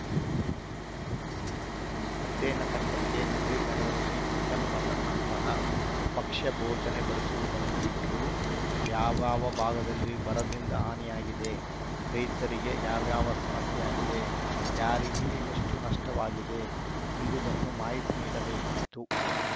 ಅಧ್ಯಯನ ತಂಡಕ್ಕೆ ನಜೀರ್‌ ನಗರದಲ್ಲಿ ಚಿಕನ್‌ ಮಟನ್‌ನಂತಹ ಭಕ್ಷ್ಯ ಭೋಜನ ಬಡಿಸುವುದನ್ನು ಬಿಟ್ಟು ಯಾವ್ಯಾವ ಭಾಗದಲ್ಲಿ ಬರದಿಂದ ಹಾನಿಯಾಗಿದೆ ರೈತರಿಗೆ ಯಾವ್ಯಾವ ಸಮಸ್ಯೆಯಾಗಿದೆ ಯಾರಿಗೆ ಎಷ್ಟು ನಷ್ಟವಾಗಿದೆಯೆಂಬುದನ್ನು ಮಾಹಿತಿ ನೀಡಬೇಕಿತ್ತು